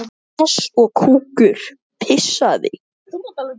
Sá á að heita Agnes.